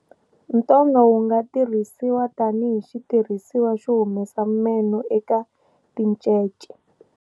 Ntonga wu nga tirhisiwa tani hi xitirhisiwa xo humesa meno eka tincece.